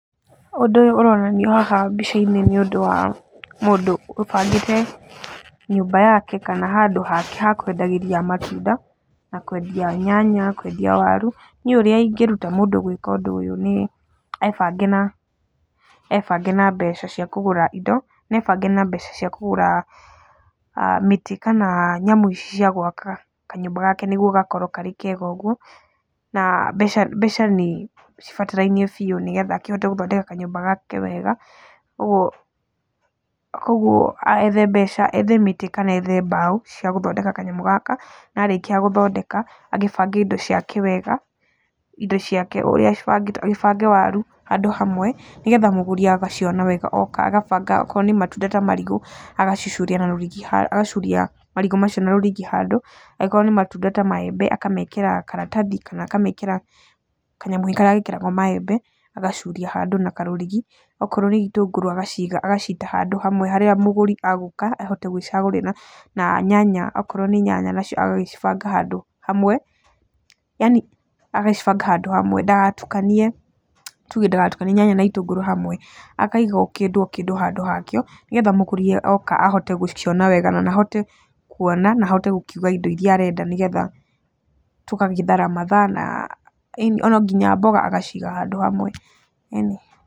Ũndũ ũronanio haha mbica-inĩ nĩ ũndũ wa mũndũ ũbangĩte nyũmba yake kana handũ hake ha kwendagĩria matunda na kwendia nyanya, kwendia waru. Niĩ ũrĩa ingĩruta mũndũ gwĩka ũndũ ũyũ nĩ ebange na mbeca cia kũgũra indo na ebange na mbeca cia kũgũra mĩtĩ kana nyamũ cia gwaka kanyũmba gake nĩguo gakorwo karĩ kega ũguo. Na mbeca nĩ cibatarainie biũ nĩgetha akĩhote gũthondeka kanyũmba gake wega, ũguo, kogwo ethe mbeca, ethe mĩtĩ kana mbaũ cia gũthondeka kanyamũ gaka na arĩkia gũthondeka, agĩbange indo ciake wega, indo ciake agĩbange waru handũ hamwe, nĩgetha mũgũri agaciona wega ooka agabanga okorwo nĩ matunda ta marigũ agacuria na rurigi, agacuria marigũ macio na rũrigi handũ, angorwo nĩ matunda ta maembe akamekĩra karatathi kana akamekĩra kanyamũ karĩa gekĩragwo maembe agacuria handũ na karũrigi, okorwo nĩ itũngũrũ agacita handũ hamwe hara mũgũri egũka ahote gwicagũrira, na nyanya okorwo ni nyanya nacio agagĩcibanga handũ hamwe, yaani agacibanga handũ hamwe, ndagatukanie, tuge ndagatukanie nyanya na itũngũrũ hamwe, akaiga o kĩndũ o kĩndu handũ hakĩo, nĩgetha mũgũri ooka ahote gũciona wega, na ahote kuona na ahote gũkiuga indo iria arenda, nĩgetha tũgagĩthara mathaa, ĩni ona nginya mboga agaciiga handũ hamwe, ĩni.